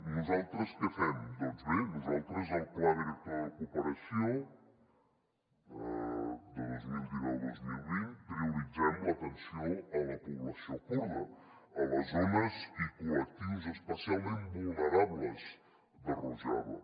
nosaltres què fem doncs bé nosaltres al pla director de cooperació de vint milions cent i noranta dos mil vint prioritzem l’atenció a la població kurda a les zones i col·lectius especialment vulnerables de rojava